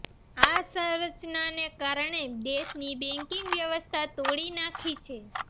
આ સંરચના ને કારણે દેશની બેકિંગ વ્યવસ્થા તોડી નાખી છે